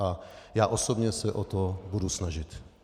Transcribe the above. A já osobně se o to budu snažit.